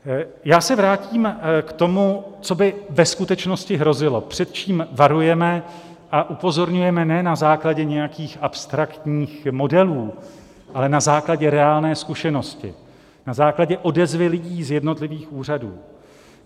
Já se vrátím k tomu, co by ve skutečnosti hrozilo, před čím varujeme a upozorňujeme ne na základě nějakých abstraktních modelů, ale na základě reálné zkušenosti, na základě odezvy lidí z jednotlivých úřadů.